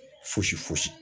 Fosi fosi